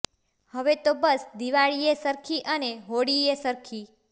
હવે તો બસ દિવાળીએ સરખી અને હોળીએ સરખી